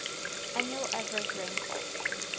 annual average rainfall